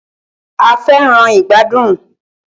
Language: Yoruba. A fẹràn ìgbàdùn.